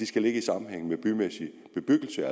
skal ligge i sammenhæng med bymæssig bebyggelse